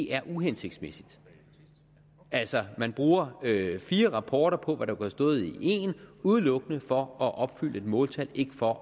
er uhensigtsmæssigt altså at man bruger fire rapporter på hvad der kunne have stået i én udelukkende for at opfylde et måltal ikke for